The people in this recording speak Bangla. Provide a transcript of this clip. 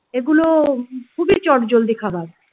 এগুলো খুবই চটজলদি খাবার ।